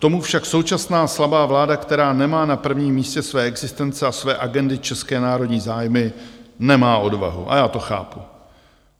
K tomu však současná slabá vláda, která nemá na prvním místě své existence a své agendy české národní zájmy, nemá odvahu - a já to chápu.